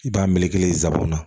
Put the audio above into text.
I b'a melekelen n sabonan